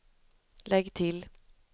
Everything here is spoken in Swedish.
lägg till